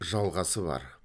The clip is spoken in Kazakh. жалғасы бар